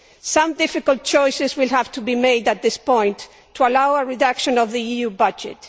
Some difficult choices will have to be made at this point to allow a reduction in the EU budget.